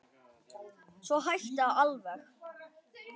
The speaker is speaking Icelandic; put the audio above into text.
Svo hætti það alveg.